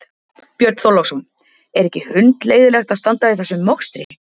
Björn Þorláksson: Er ekki hundleiðinlegt að standa í þessum mokstri?